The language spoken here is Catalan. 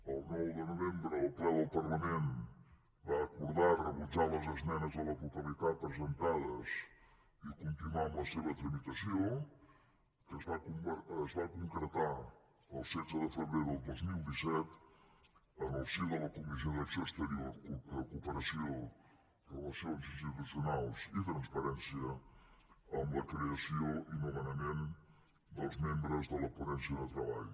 el nou de novembre el ple del parlament va acordar rebutjar les esmenes a la totalitat presentades i continuar amb la seva tramitació que es va concretar el setze de febrer del dos mil disset en el si de la comissió d’acció exterior cooperació relacions institucionals i transparència amb la creació i nomenament dels membres de la ponència de treball